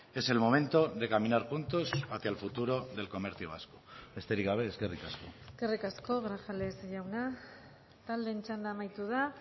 es el momento de caminar juntos hacia el futuro del comercio vasco besterik gabe eskerrik asko eskerrik asko grajales jauna taldeen txanda amaitu da